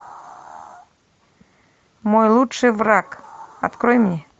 мой лучший враг открой мне